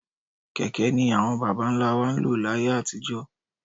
Kẹ̀kẹ́ ni àwọn bàbá ńlá wa ń lò láyé àtijọ́.